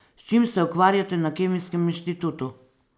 S čim se ukvarjate na Kemijskem inštitutu?